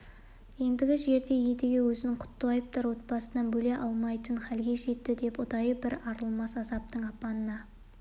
ендігі жерде едіге өзін құттыбаевтар отбасынан бөле алмайтын хәлге жетті деп ұдайы бір арылмас азаптың апанына